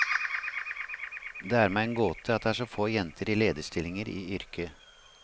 Det er meg en gåte at det er så få jenter i lederstillinger i yrket.